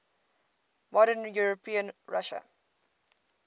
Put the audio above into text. modern european russia